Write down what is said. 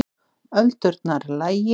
Öldurnar lægir